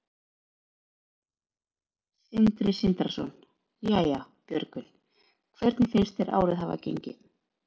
Sindri Sindrason: Jæja, Björgvin, hvernig finnst þér árið hafa gengið?